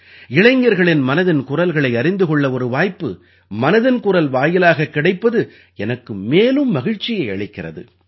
இளைஞர்களின் மனதின் குரல்களை அறிந்து கொள்ள ஒரு வாய்ப்பு மனதின் குரல் வாயிலாகக் கிடைப்பது எனக்கு மேலும் மகிழ்ச்சியை அளிக்கிறது